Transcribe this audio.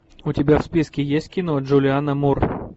у тебя в списке есть кино джулиана мур